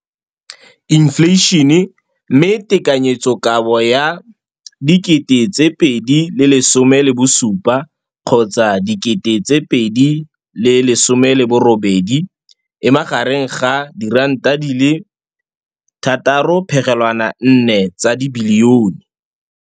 Infleišene, mme tekanyetsokabo ya 2017, 18, e magareng ga R6.4 bilione.